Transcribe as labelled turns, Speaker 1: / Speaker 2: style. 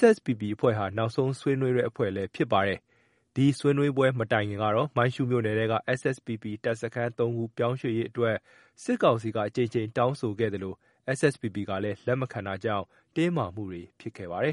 Speaker 1: SSPP အဖွဲ့ဟာ နောက်ဆုံးဆွေးနွေးတဲ့အဖွဲ့လည်း ဖြစ်ပါတယ်။ ဒီဆွေးနွေးပွဲ မတိုင်ခင်ကတော့ မိုင်းရှုးမြို့နယ်က SSPP တပ်စခန်း ၃ ခုပြောင်း ရွှေ့ရေးအတွက် စစ်ကောင်စီက အကြိမ်ကြိမ်တောင်းဆိုခဲ့သလို SSPP ကလည်း လက်မခံတာကြောင့် တင်းမာမှုတွေ ဖြစ်ခဲ့ပါတယ်